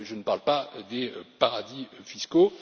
Je ne parle pas des paradis fiscaux.